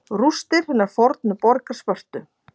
Rústir hinnar fornu borgar Spörtu.